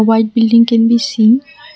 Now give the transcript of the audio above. White building can be seen.